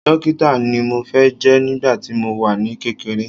Dókítà ni mo fẹ́ jẹ́ nígbà tí mo wà ní kékeré